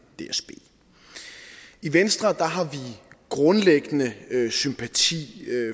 dsb i venstre har vi grundlæggende sympati